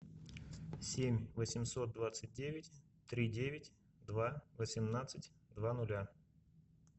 семь восемьсот двадцать девять три девять два восемнадцать два ноля